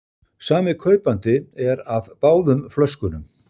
Sami kaupandi er af báðum flöskunum